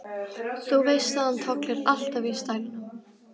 Þú veist að hann tollir alltaf í stælnum.